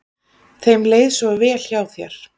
Þeim leið svo vel hjá þér.